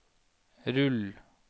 rull